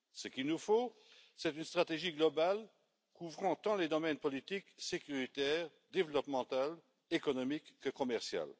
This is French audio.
Ce qu'il nous faut, c'est une stratégie globale couvrant tant les domaines politique, sécuritaire, développemental et économique que commercial.